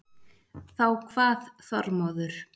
Þá kvað Þormóður